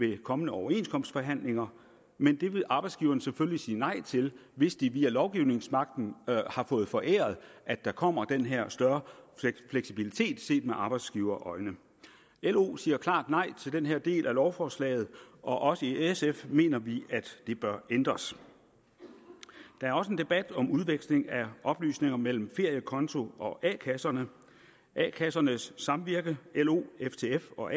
ved kommende overenskomstforhandlinger men det vil arbejdsgiverne selvfølgelig sige nej til hvis de via lovgivningsmagten har fået foræret at der kommer den her større fleksibilitet set med arbejdsgiverøjne lo siger klart nej til den her del af lovforslaget og også i sf mener vi at det bør ændres der er også en debat om udveksling af oplysninger mellem feriekonto og a kasserne a kassernes samvirke lo ftf og